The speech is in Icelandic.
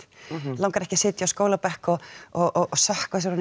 langar ekki að sitja á skólabekk og sökkva sér ofan